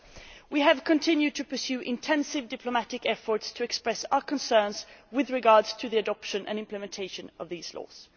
First, we have continued to pursue intensive diplomatic efforts to express our concerns with regard to the adoption and implementation of these laws.